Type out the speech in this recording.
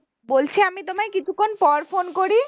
বলছি আমি তোমায় কিছুক্ষন পর phone করি